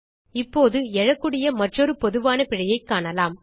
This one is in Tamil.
இப்போது எழக்கூடிய மற்றொரு பொதுவான பிழையைக் காணலாம்